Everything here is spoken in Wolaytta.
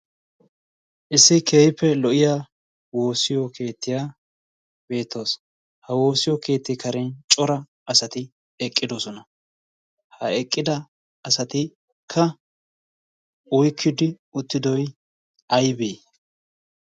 issi keehipfe lo'iya woosiyo keettiyaa beettoosona. ha woosiyo keetti karen cora asati eqqidosona. ha eqqida asati ka uikkidi uttidoi aibii?